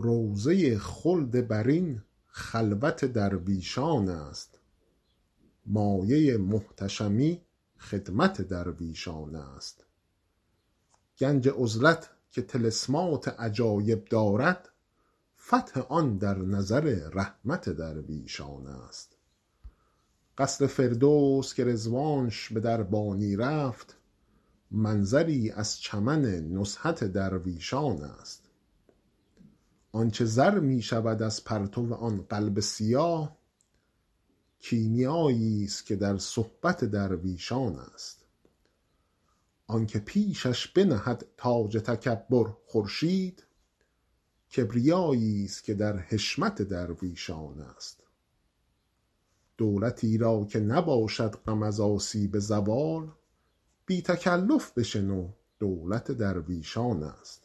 روضه خلد برین خلوت درویشان است مایه محتشمی خدمت درویشان است گنج عزلت که طلسمات عجایب دارد فتح آن در نظر رحمت درویشان است قصر فردوس که رضوانش به دربانی رفت منظری از چمن نزهت درویشان است آن چه زر می شود از پرتو آن قلب سیاه کیمیاییست که در صحبت درویشان است آن که پیشش بنهد تاج تکبر خورشید کبریاییست که در حشمت درویشان است دولتی را که نباشد غم از آسیب زوال بی تکلف بشنو دولت درویشان است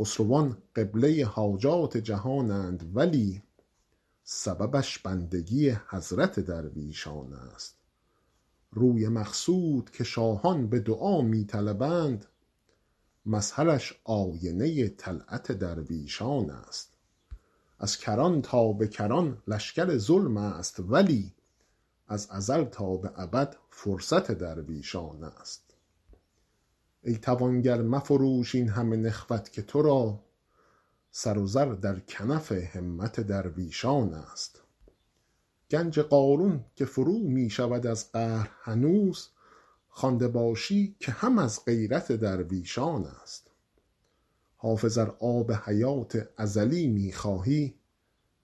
خسروان قبله حاجات جهانند ولی سببش بندگی حضرت درویشان است روی مقصود که شاهان به دعا می طلبند مظهرش آینه طلعت درویشان است از کران تا به کران لشکر ظلم است ولی از ازل تا به ابد فرصت درویشان است ای توانگر مفروش این همه نخوت که تو را سر و زر در کنف همت درویشان است گنج قارون که فرو می شود از قهر هنوز خوانده باشی که هم از غیرت درویشان است حافظ ار آب حیات ازلی می خواهی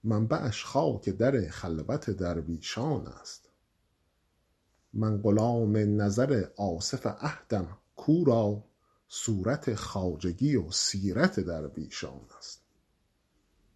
منبعش خاک در خلوت درویشان است من غلام نظر آصف عهدم کو را صورت خواجگی و سیرت درویشان است